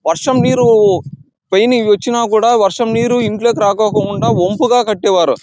వర్షం నీరు పైన ఇవి వచ్చిన కూడా వర్షం నీరు ఇంట్లోకి రాకుండా వంపుగా కట్టేవారు.